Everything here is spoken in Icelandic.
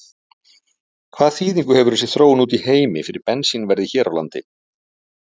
Hvaða þýðingu hefur þessi þróun úti í heimi fyrir bensínverðið hér á landi?